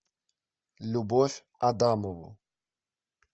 любовь адамову